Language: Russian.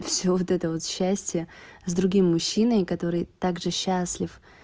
всё вот это вот счастье с другим мужчиной который также счастлив